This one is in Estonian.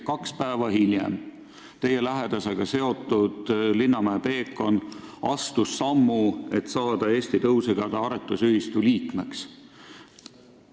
Kaks päeva hiljem astus teie lähedasega seotud Linnamäe Peekon sammu, et saada Eesti Tõusigade Aretusühistu liikmeks.